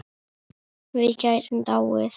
Við gætum dáið.